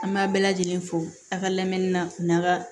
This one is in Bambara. An b'a bɛɛ lajɛlen fo a ka lamɛnni na u n'a ka